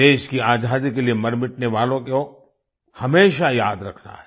देश की आजादी के लिए मरमिटने वालों को हमेशा याद रखना है